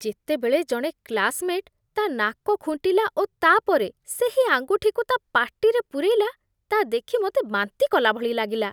ଯେତେବେଳେ ଜଣେ କ୍ଲାସ୍‌ମେଟ୍ ତା' ନାକ ଖୁଣ୍ଟିଲା ଓ ତା'ପରେ ସେହି ଆଙ୍ଗୁଠିକୁ ତା' ପାଟିରେ ପୂରେଇଲା, ତା'ଦେଖି ମୋତେ ବାନ୍ତି କଲାଭଳି ଲାଗିଲା।